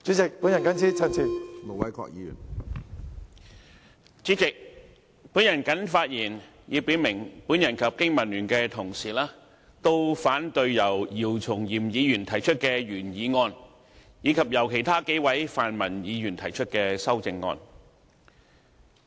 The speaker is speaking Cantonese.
主席，我謹此表明，我與香港經濟民生聯盟的同事都反對由姚松炎議員提出的原議案，以及由其他數位泛民議員提出的修正案。